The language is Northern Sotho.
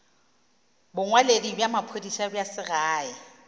bongwaledi bja maphodisa bja segae